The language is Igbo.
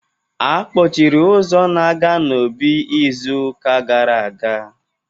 A kpọchiri ụzọ na-aga n'obí izu ụka gara aga